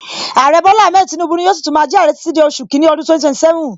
Aare Bola Ahmed Tinubu ni yóò si tún máa jẹ aare títí di oṣù kini ọdún 2027